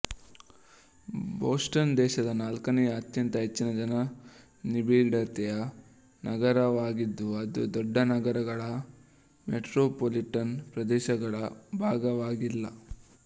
Boston ದೇಶದ ನಾಲ್ಕನೆಯ ಅತ್ಯಂತ ಹೆಚ್ಚಿನ ಜನ ನಿಬಿಡತೆಯ ನಗರವಾಗಿದ್ದು ಅದು ದೊಡ್ಡ ನಗರಗಳ ಮೆಟ್ರೊಪೋಲಿಟನ್ ಪ್ರದೇಶಗಳ ಭಾಗವಾಗಿಲ್ಲ